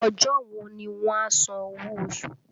Ọjọ́ wo ni wọ́n a san owó oṣù?